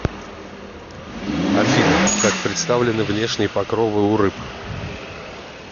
афина как представлены внешние покровы у рыб